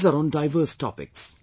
These are on diverse topics